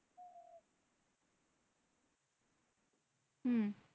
হম